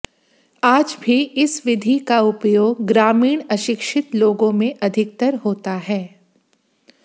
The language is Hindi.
आज भी इस विधि का उपयोग ग्रामीण अशिक्षित लोगों में अधिकतर होता है